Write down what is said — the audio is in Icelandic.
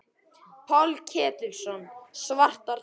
Páll Ketilsson: Svartar tölur?